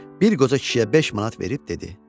Bir qoca kişiyə beş manat verib dedi: